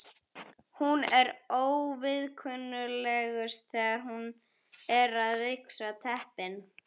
Hún er óviðkunnanlegust þegar hún er að ryksuga teppin.